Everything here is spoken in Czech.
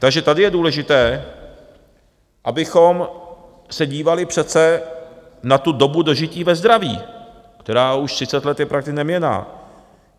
Takže tady je důležité, abychom se dívali přece na tu dobu dožití ve zdraví, která už 30 let je prakticky neměnná.